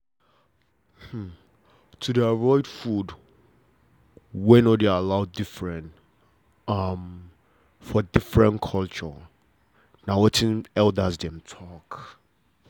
to de avoid food wey no allow dey different for different culture na wetin elders dem talk